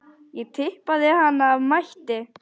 Ég tippaði hana af mætti.